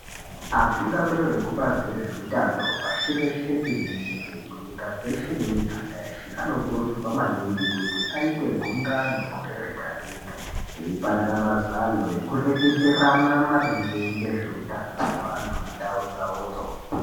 Atungamuriri vekubazi rezvehutano pashi reshe tenderere nyika dzeshe memuganga dzeshe anofana kuita gungano gore Rega Rega veipanana mazano veireketerana maringe ngezvehutano weantu mundau dzawodzo.